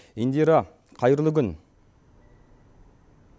индира қайырлы күн